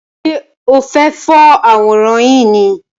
Ṣe o fẹ for àwòrán yìí ni?